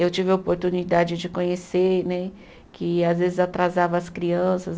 Eu tive a oportunidade de conhecer né, que às vezes atrasava as crianças.